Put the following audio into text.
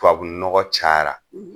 Tubabu nɔgɔ cayara